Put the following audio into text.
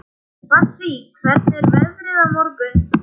Bassí, hvernig er veðrið á morgun?